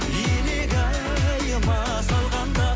илигайыма салғанда